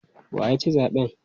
Wa ya ci zaɓen?